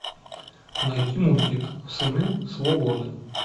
найти мультик сыны свободы